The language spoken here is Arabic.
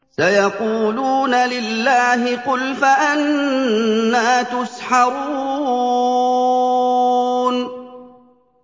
سَيَقُولُونَ لِلَّهِ ۚ قُلْ فَأَنَّىٰ تُسْحَرُونَ